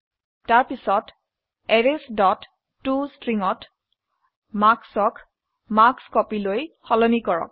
তাৰপিছত arrays dot to string ত marks ক marksCopyলৈ সলনি কৰক